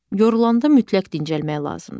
Yorulanda mütləq dincəlmək lazımdır.